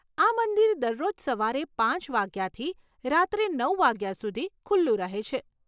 આ મંદિર દરરોજ સવારે પાંચ વાગ્યાથી રાત્રે નવ વાગ્યા સુધી ખુલ્લું રહે છે.